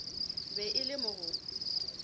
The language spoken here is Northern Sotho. be e le mo go